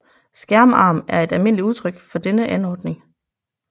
Skærmarm et almindeligt udtryk for denne anordning